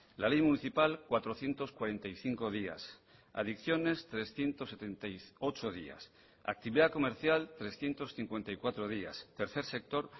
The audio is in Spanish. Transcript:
la ley municipal cuatrocientos cuarenta y cinco días adicciones trescientos setenta y ocho días actividad comercial trescientos cincuenta y cuatro días tercer sector